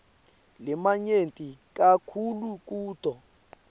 lamanyenti kakhulu kuto